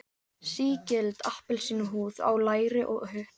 Sígild appelsínuhúð á læri og hupp.